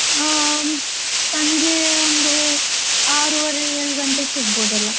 ಆ, ಸಂಜೆ ಒಂದು ಆರೂವರೆ ಏಳು ಗಂಟೆಗೆ ಸಿಗಬೋದೆಲ್ಲಾ?